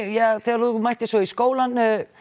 þegar þú mættir svo í skólann